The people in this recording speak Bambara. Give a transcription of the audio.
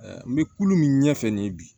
N bɛ kulu min ɲɛ fɛ nin ye bi